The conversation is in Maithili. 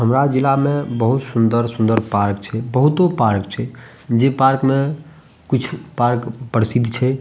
हमरा जिला में बहुत सुंदर-सुंदर पार्क छै बहुतो पार्क छै जे पार्क में कुछ पार्क प्रसिद्ध छै ।